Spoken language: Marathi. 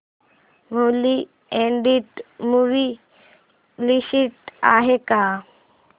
न्यूली अॅडेड मूवी लिस्ट आहे का